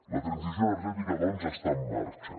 la transició energètica doncs està en marxa